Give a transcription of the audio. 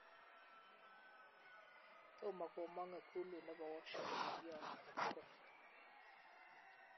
Tom komong ikulut nebo Washington ng'alyo age tugul